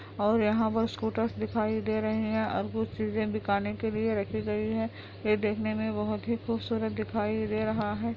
और यहाँ बहोत स्कूटर्स दिखाई दे रहे है और कुछ चीज़े बिकने के लिए राखी गयी है ये देखने में काफी खूबसूरत दिखाई दे रहा है |